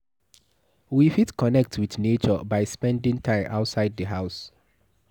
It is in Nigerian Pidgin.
We fit connect with nature by spending time outside di house